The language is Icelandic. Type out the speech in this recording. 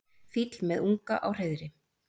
Fýll með unga á hreiðri.